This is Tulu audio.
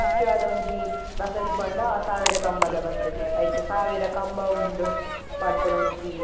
ಮುಖ್ಯವಾದ ಒಂಜಿ ಬಸದಿ ಪಂಡ ಅವು ಸಾವಿರ ಕಂಬದ ಬಸದಿ ಐಟ್ ಸಾವಿರ ಕಂಬ ಉಂಡು ಪನ್ಪುನ ಒಂಜಿ.